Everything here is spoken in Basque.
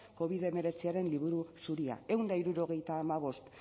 covid hemeretziaren liburu zuria ehun eta hirurogeita hamabost